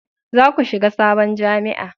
za ku shiga sabon jami'a!